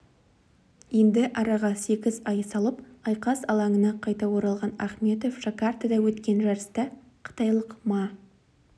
енді араға сегіз ай салып айқас алаңына қайта оралған ахметов жакартада өткен жарыста қытайлық ма